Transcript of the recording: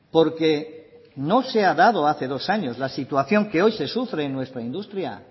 porque no se ha dado hace dos años la situación que hoy se sufre en nuestra industria